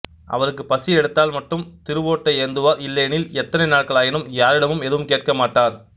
அவருக்கு பசி எடுத்தால் மட்டும் திருவோட்டை ஏந்துவார் இல்லையெனில் எத்தனை நாட்களானாலும் யாரிடமும் எதுவும் கேட்க மாட்டார்